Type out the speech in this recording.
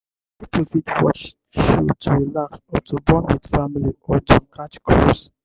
pipo fit watch show to relax or to bond with their family or to catch cruise